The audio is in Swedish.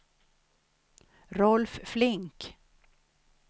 Rolf Flink